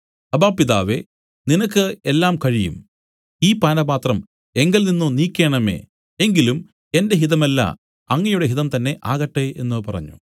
അബ്ബാ പിതാവേ നിനക്ക് എല്ലാം കഴിയും ഈ പാനപാത്രം എങ്കൽ നിന്നു നീക്കേണമേ എങ്കിലും എന്റെ ഹിതമല്ല അങ്ങയുടെ ഹിതം തന്നേ ആകട്ടെ എന്നു പറഞ്ഞു